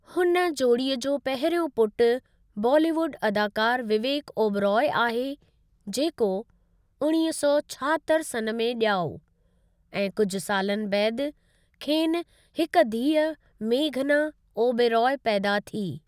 हुन जोड़ीअ जो पहिरियों पुटु बॉलीवुड अदाकारु विवेकु ओबराई आहे जेको उणवीह सौ छाहतरि सन् में ॼाओ ऐं कुझु सालनि बैदि खेनि हिकु धीअ मेघना ओबराई पैदा थी।